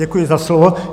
Děkuji za slovo.